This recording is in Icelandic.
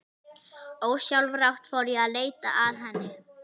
Ósjálfrátt fór ég að leita að henni.